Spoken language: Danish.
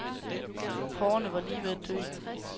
Porrerne var lige ved at dø.